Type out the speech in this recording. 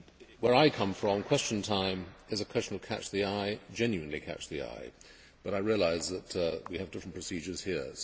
Where I come from, Question Time is a question of catch the eye genuinely catch the eye but I realise that we have different procedures here.